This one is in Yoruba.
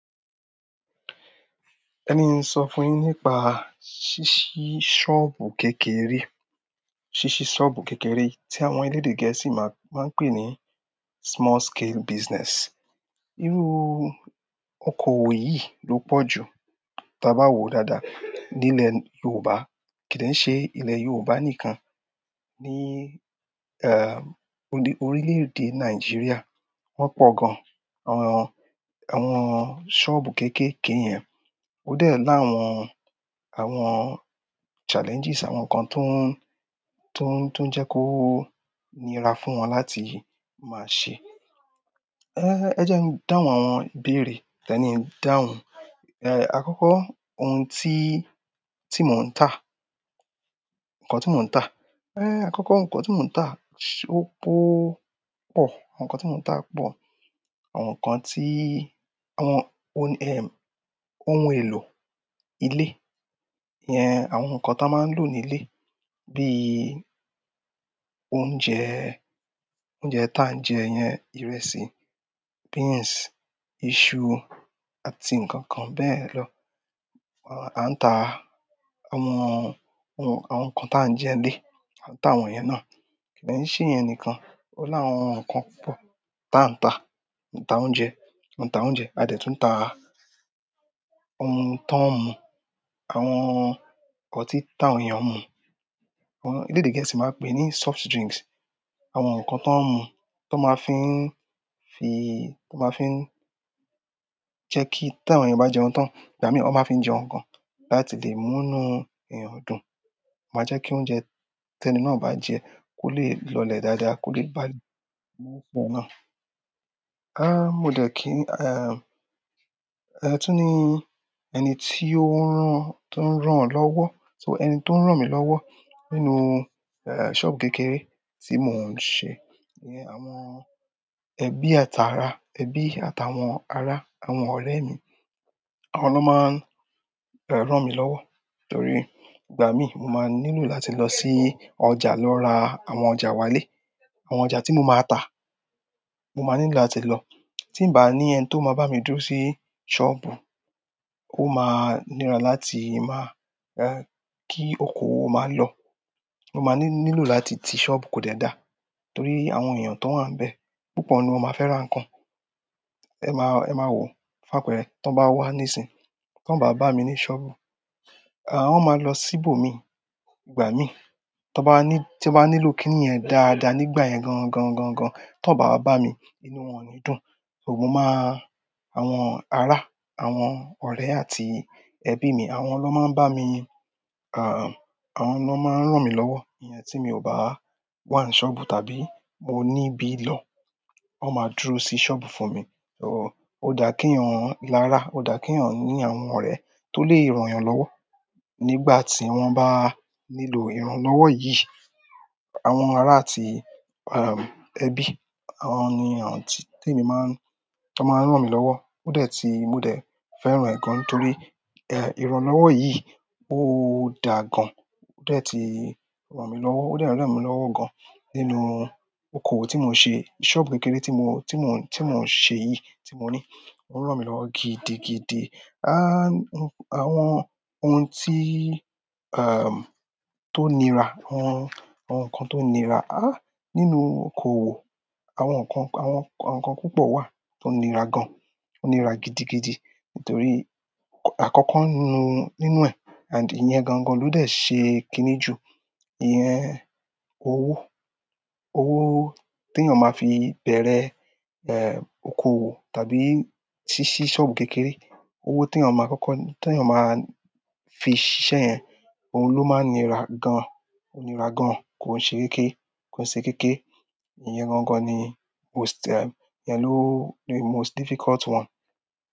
Ẹni ki ń sọ fún yín nípa ṣíṣí ṣọ́ọ̀bù kékeré, ṣíṣí ṣọ́ọ̀bù kékeré tí àwọn elédè gẹ̀ẹ́sì máa ń pè ní small scale business. Irú okoòwò yìí ló pọ̀ jù tí a bá wò dáadáa nílẹ̀ Yorùbá. Kìí dẹ̀ n ṣe ilẹ̀ Yorùbá nìkan ní, ẹ́, orílè-èdè Nàìjíríà. Wọ́n pọ̀ gan-an, àwọn, àwọn ṣọ́ọ̀bù kéékèèké yẹn. Ó dẹ́ẹ̀ láàwọn, àwọn challenges, àwọn nǹkan tó ń tó ń, tó ń jẹ́ kó níra fún wọn láti máa ṣe. É, ẹ jẹ́ n dáhùn àwọn ìbéèrè. Tiẹ ni n dáhùn. É, àkọ́kọ́ ohun tí, tí mò ń tà, ǹkan tí mò ń tà. É, àkọ́kọ́ ǹkan tí mò ń tà ṣò po pọ̀. Àwọn nǹkan tí mò ń tà pọ̀. Àwọn nǹkan tí, àwọn ohun, ẹ́, ohun èlò ilé yẹn, àwọn nǹkan tí wọn máa ń lò nílé bí i oúnjẹ, oúnjẹ tí à ń jẹ ìyẹn, ìrẹsì, beans, iṣu àti nǹkan kan bẹ́ẹ̀ lọ. À ń tà àwọn ohun, àwọn nǹkan tí à ń jẹ ní ilé, à ń tà àwọn ìyẹn náà. Kì dẹ̀ n ṣe ìyẹn nìkan. Ó láwọn nǹkan púpọ̀ tí a ń tà. A n tà oúnjẹ, a tà oúnjẹ. A dẹ̀ tún tà ohun tọ́ ń mú, àwọn ọtí táwọn èèyàn ń mú. Àwọn elédè gẹ̀ẹ́sì máa ń pè é ní soft drinks. Àwọn nǹkan tó ń mú, tó máa fi ń fi, tó máa fi ń jẹ́ kí tí àwọn èèyàn bá jẹun tán, ìgbà mí wọn máa fi ń jẹun gan láti lè mú inú èèyàn dùn. Ó máa jẹ́ kí oúnjẹ tí ẹni náà bá jẹ kó lè lọlẹ̀ dáadáa, kó lè balẹ̀ nínú ọsẹ náà. A, mo dẹ̀ kí, ẹ́, ẹ tún ní ẹni tí ó ń rán, tó ń rán ọ́ lọ́wọ́. So, ẹni tó ń rán mi lọ́wọ́ nínú, ẹ́, ṣọ́ọ̀bù kékeré tí mò ń ṣe ni àwọn ẹbí àti ará, ẹbí àti àwọn ará, àwọn ọ̀rẹ́ mi. Àwọn ló máa ń, ẹ́, rán mi lọ́wọ́. Nítorí ìgbà mí, mo máa n nílò láti lọ sí ọjà lọ ra àwọn ọjà wálé. Àwọn ọjà tí mo máa tà, mo máa nílò láti lọ. Tí n bà á ní ẹni tó máa bá mi dúró sí ṣọ́ọ̀bù, ó máa níra láti máa, ẹ́, kí okoòwò máa lọ. Mo máa ní nílò láti ti ṣọ́ọ̀bù kò dẹ dá. Nítorí àwọn èèyàn tó wà níbẹ̀, púpọ̀ nínú wọ́n máa fẹ́ ra nǹkan. Ẹ máa, ẹ máa wò ó fún àpẹrẹ. Tí wọ́n bá wá níìsín, tí wọ́n o bá bá mi ní ṣọ́ọ̀bù, à, wọ́n máa lọ síbò mii. Ìgbà mí tọ́ bá ní tí mo bá nílò kíni yẹn dáadáa nígbà yẹn gan gan gan gan, tí wọ́n o bá wá bá mi, inú wọn ò ní dùn. So, mo máa-- àwọn ará, àwọn ọ̀rẹ́ àti ẹbí mi, àwọn ló máa ń bá mi, à, àwọn ló máa ń rán mi lọ́wọ́. Ìyẹn tí mi ò bá wà ní ṣọ́ọ̀bù tàbí mo níbí lọ, wọ́n máa dúró sí ṣọ́ọ̀bù fún mi. So, ó dà kí èèyàn larā, ó dà kí èèyàn ní àwọn ọ̀rẹ́ tó lè rán ìyàn lọ́wọ́. Nígbà tí wọ́n bá nílò ìránlọ́wọ́ yìí, àwọn ará àti, ẹ́, ẹbí, àwọn ni àwọn tí, tí èmi máa ń, tí wọ́n máa ń rán mi lọ́wọ́. Ó dẹ́ tí, mo dẹ̀ fẹ́ran ẹ gan torí, ẹ́, ìránlọ́wọ́ yìí ó dáa gan. Ó dẹ́ tí rán mi lọ́wọ́, ó dẹ́ n rán mi lọ́wọ́ gan nínú okoòwò tí mò ń ṣe. Ṣọ́ọ̀bù kékeré tí mò, tí mò ń ṣe yìí tí mò ní, ó ń rán mi lọ́wọ́ gidigidi. A, àwọn ohun tí, ẹ́, tó ń nira, àwọn àwọn nǹkan tó ń nira, a, nínú okoòwò, àwọn nǹkan, àwọn nǹkan púpọ̀ wà tó ń nira gan. Ó ń nira gidigidi nítorí àkọ́kọ́ nínú, nínú ẹ̀, and ìyẹn gan-gan ló dẹ̀ ṣe kiní ju. Ìyẹn owó, owó tí èèyàn máa fi bẹ̀rẹ̀, ẹ́, okoòwò tàbí ṣíṣí ṣọ́ọ̀bù kékeré. Owó tí èèyàn máa kọ́kọ́, tí èèyàn máa fi ṣíṣe yẹn, òun ló máa ń nira gan. Ó ń nira gan, kò ń ṣe kéékè. Kò ń ṣe kéékè. Ìyẹn gan-gan ni most ẹm, ìyẹn ló the most difficult one.